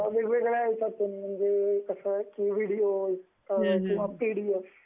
वेगवेगळ्या ह्यांच्यातून, म्हणजे कसंय, व्हिडीओ किंवा पीडीएफ